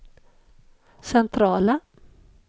centrala